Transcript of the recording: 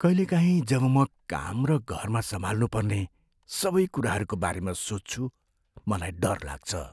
कहिलेकाहीँ जब म काम र घरमा सम्हाल्नु पर्ने सबै कुराहरूको बारेमा सोच्छु मलाई डर लाग्छ।